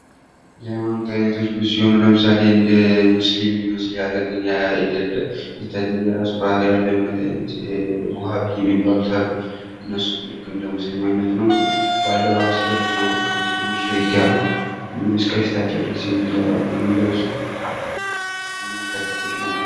የሃይማኖት አይነቶች ብዙ ሲሆኑ ለምሳሌ እንደ ሙስሊም ሊመስል ያለ ግን አይደለም የተለየ የራሱ የሆነ ባህሪ ያለሁ የውሀ ብይ የሚባሉት አሉ ። እነሱም ልክ እንደ ሙስሊም አይነት ሁነው ግን በአለባበስ ደረጃ እንኳን ከሙስሊሞች ለየት ያሉ እስከ ፊታቸው ድረስ የሚለብሱ የእምነት ተከታዮች ናቸው ።